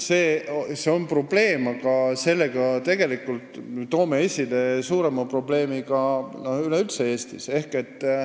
See on probleem, millega toome tegelikult esile veel suurema probleemi Eestis.